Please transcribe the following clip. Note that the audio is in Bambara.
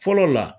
Fɔlɔ la